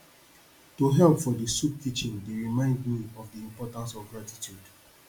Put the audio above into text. to help for di soup kitchen dey remind me of di importance of gratitude